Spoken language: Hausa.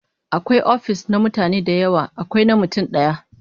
Akwai ofis na mutane da yawa, akwai na mutum daya